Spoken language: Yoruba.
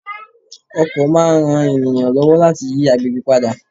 Ọkọ̀ máa ń ran ènìyàn lọ́wọ́ láti yí àgbègbè padà.